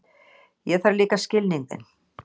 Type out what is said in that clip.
Ég þarf líka skilning þinn.